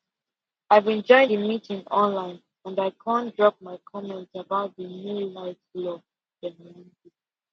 i been join the meeting online and i kon drop my comment about the new light law